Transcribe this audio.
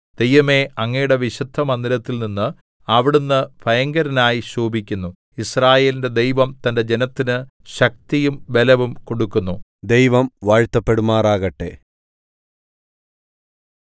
ദൈവമേ അങ്ങയുടെ വിശുദ്ധമന്ദിരത്തിൽ നിന്ന് അവിടുന്ന് ഭയങ്കരനായി ശോഭിക്കുന്നു യിസ്രായേലിന്റെ ദൈവം തന്റെ ജനത്തിന് ശക്തിയും ബലവും കൊടുക്കുന്നു ദൈവം വാഴ്ത്തപ്പെടുമാറാകട്ടെ